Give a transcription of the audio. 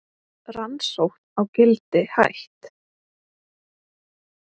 Rannsókn á Gildi hætt